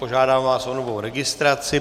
Požádám vás o novou registraci.